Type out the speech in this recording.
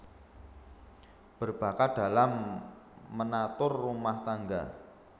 Berbakat dalam menatur rumah tangga